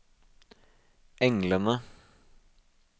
englene